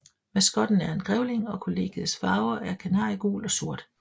Maskotten er en grævling og kollegiets farver er kanariegul og sort